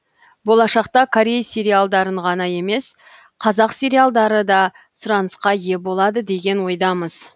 болашақта корей сериалдарын ғана емес қазақ сериалдары да сұранысқа ие болады деген ойдамыз